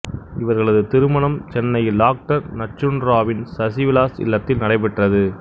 இவர்களது திருமணம் சென்னையில் டாக்டர் நஞ்சுண்டராவ்வின் சசி விலாஸ் இல்லத்தில் நடைபெற்றது